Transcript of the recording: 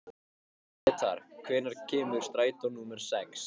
Gretar, hvenær kemur strætó númer sex?